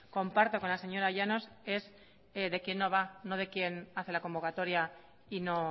comparto con la señora llanos es de quien no va no de quien hace la convocatoria y no